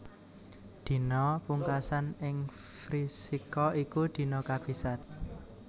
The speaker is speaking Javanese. Dina pungkasan ing Vrishika iku dina kabisat